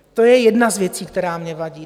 To je jedna z věcí, která mně vadí.